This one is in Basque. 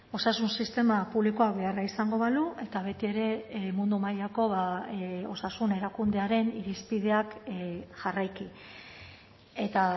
osasun sistema publikoak beharra izango balu eta betiere mundu mailako osasun erakundearen irizpideak jarraiki eta